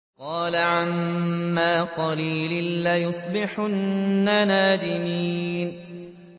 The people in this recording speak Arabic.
قَالَ عَمَّا قَلِيلٍ لَّيُصْبِحُنَّ نَادِمِينَ